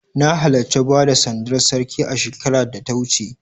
Na halarci bada sandar Sarki shekarar da ta wuce.